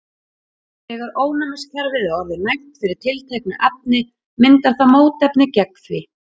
þegar ónæmiskerfið er orðið næmt fyrir tilteknu efni myndar það mótefni gegn því